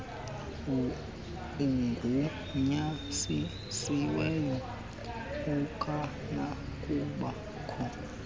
ugunyazisiweyo akanakuba kho